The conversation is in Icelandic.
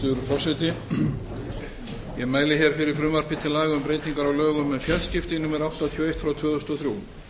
frú forseti ég mæli hér fyrir frumvarpi til laga um breytingar á lögum um fjarskipti númer áttatíu og eitt tvö þúsund og þrjú